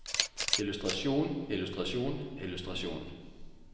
illustrasjon illustrasjon illustrasjon